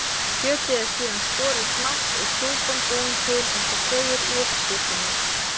Kjötið er síðan skorið smátt og súpan búin til eins og segir í uppskriftinni.